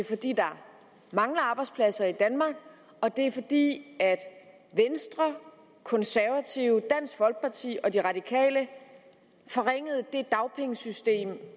fordi der mangler arbejdspladser i danmark og det er fordi venstre konservative dansk folkeparti og de radikale forringede det dagpengesystem